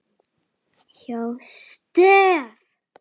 hjá STEF.